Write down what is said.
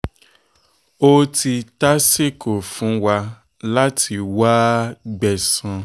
ó ti tásìkò fún wa láti wáá gbẹ̀san